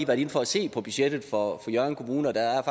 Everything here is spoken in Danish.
været inde for at se på budgettet for hjørring kommune og der er